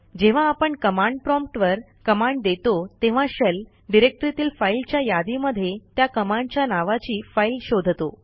जेव्हा आपण command prompt वर कमांड देतो तेव्हा शेल डिरेक्टरीतील फाईलच्या यादीमध्ये त्या कमांडच्या नावाची फाईल शोधतो